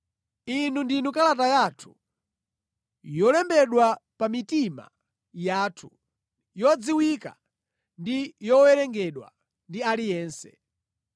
Inu ndinu kalata yathu, yolembedwa pa mitima yathu, yodziwika ndi yowerengedwa ndi aliyense.